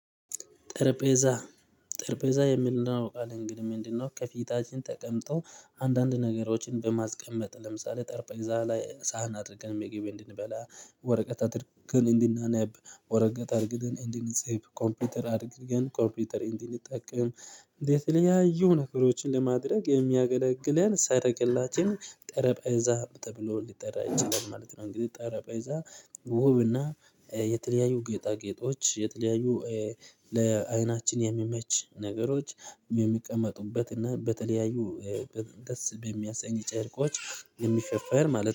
ጠረጴዛ ጠረጴዛ የሚለው ቃል እንግዲህ ምንድነው? ከፊታችን ተቀምጦ አንዳንድ ነገሮችን በማስቀመጥ ለምሳሌ ጠርጴዛ ላይ ሳህን አድርገን መገቢ እንድንበላ ወረቀት አድርግን እንድናነብ ወረቀት አርግተን እንድንጽፍ ኮምፒውተር አድርግን ኮምፒውተር እንድንጠቀም ለተለያዩ ነገሮችን ለማድረግ የሚያገለግለን ሰረገላችን ጠረጴዛ ተብሎ ሊጠራ ይችላል ማለት ነው። እንግዲህ ጠረጴዛ ውብና የተለያዩ ጌጣጌጦች የተለያዩ ለአይናችን የሚመች ነገሮች የሚቀመጡበት እና በተለያዩ ደስ በሚያሰኝ ጨርቆች የሚሸፈር ማለት ነው